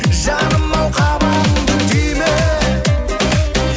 жаным ау қабағыңды түйме